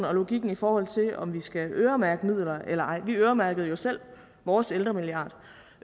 og logikken i forhold til om vi skal øremærke midler eller ej vi øremærkede jo selv vores ældremilliard